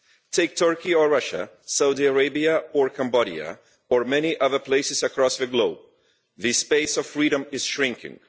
Take Turkey or Russia, Saudi Arabia or Cambodia, or many other places around the globe, this space of freedom is shrinking.